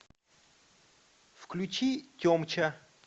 включи темча